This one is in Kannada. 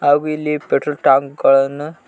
ಹಾಗು ಇಲ್ಲಿ ಪೆಟ್ರೋಲ್ ಟ್ಯಾಂಕ್ ಗಳನ್ನು--